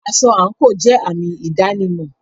Aṣọ àńkò jẹ àmì ìdánimọ̀.